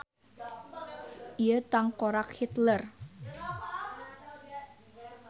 Ieu tangkorak Hitler.